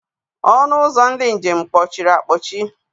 Ọnụ ụzọ ndị njem kpọchiri akpọchi.